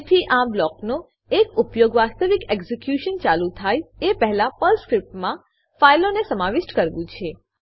જેથી આ બ્લોકનો એક ઉપયોગ વાસ્તવિક એક્ઝીક્યુશન ચાલુ થાય એ પહેલા પર્લ સ્ક્રીપ્ટમાં ફાઈલોને સમાવિષ્ટ કરવું છે